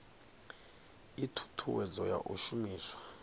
ii thuthuwedzo ya u shumiswa